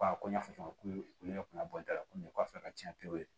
ko n y'a fɔ cogo min olu yɛrɛ kun ka bɔ n da la komi kɔfɛ ka tiɲɛ pewu